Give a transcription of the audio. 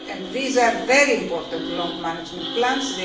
These are very important long management plans.